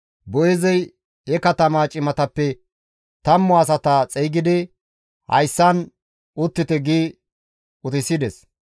Boo7eezey he katamaa cimatappe tammu asata xeygidi, «Hayssan uttite» gi utisides.